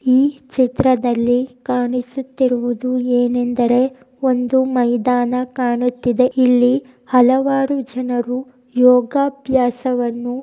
ಈ ಚಿತ್ರದಲ್ಲಿ ಕಾಣಿಸುತ್ತಿರುವುದು ಏನೆಂದರೆ ಒಂದು ಮಯ್ದಾನ ಕಾಣುತ್ತಿದೆ. ಇಲ್ಲಿ ಹಲವಾರು ಜನರು ಯೋಗಾಭ್ಯಾಸವನ್ನು--